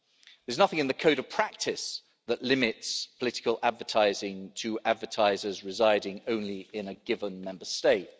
There's nothing in the Code of practice that limits political advertising to advertisers residing only in a given Member State.